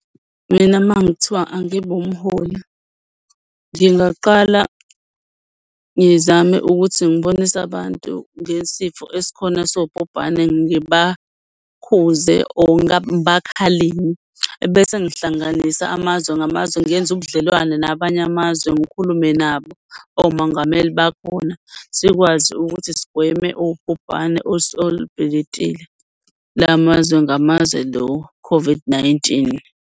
Mina uma kungathiwa angibe umholi, ngingaqala ngizame ukuthi ngibonise abantu ngesifo esikhona sobhubhane ngibakhuze or ngibakhalime. Ebese ngihlanganisa amazwe ngamazwe, ngenze ubudlelwane nabanye amazwe. Ngikhulume nabo omongameli bakhona sikwazi ukuthi sigweme ubhubhane olubhilitile lamazwe ngamazwe lo-COVID-19.